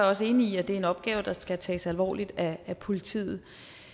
også enig i at det er en opgave der skal tages alvorligt af politiet